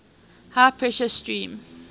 high pressure steam